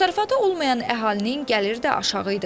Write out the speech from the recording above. Təsərrüfatı olmayan əhalinin gəlir də aşağı idi.